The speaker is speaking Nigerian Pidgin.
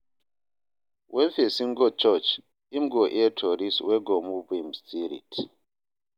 Wen pesin go church, im go hear stories wey go move im spirit.